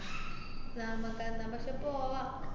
നാമാക്ക് നമ്മക്ക് പോവാ.